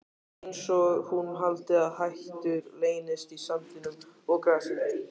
Einsog hún haldi að hættur leynist í sandinum og grasinu.